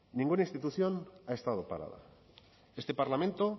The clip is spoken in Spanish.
ninguna institución ha estado parada este parlamento